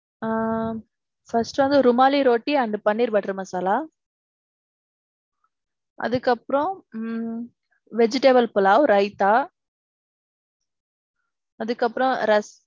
ஆ first வந்து ருமாலி ரொட்டி அந்த paneer butter masala. அதுக்கப்பறோம் ஹம் vegetable pulav, raitha. அதுக்கு அப்பறோம்